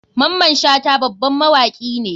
Maman shata baban mawaki ne.